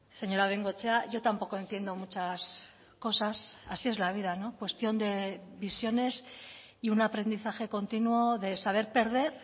señora bengoechea yo tampoco entiendo muchas cosas así es la vida no cuestión de visiones y un aprendizaje continuo de saber perder